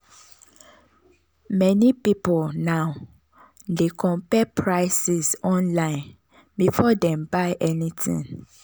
meni pipul now dey compare prices online before dem buy anything.